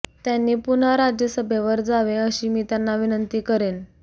त्यांनी पुन्हा राज्यसभेवर जावे अशी मी त्यांना विनंती करेन